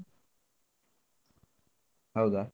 ಹೌದಾ?